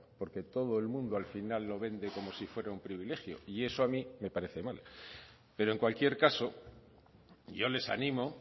porque todo el mundo al final lo vende como si fuera un privilegio y eso a mí me parece mal pero en cualquier caso yo les animo